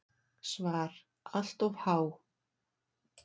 SVAR Allt of há.